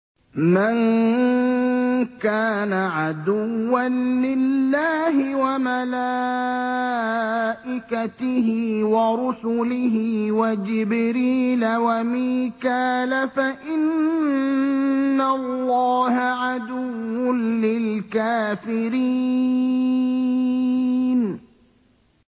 مَن كَانَ عَدُوًّا لِّلَّهِ وَمَلَائِكَتِهِ وَرُسُلِهِ وَجِبْرِيلَ وَمِيكَالَ فَإِنَّ اللَّهَ عَدُوٌّ لِّلْكَافِرِينَ